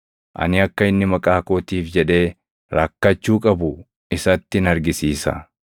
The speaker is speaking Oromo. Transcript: Ani akka inni maqaa kootiif jedhee rakkachuu qabu isattin argisiisa.”